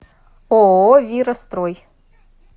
ооо вира строй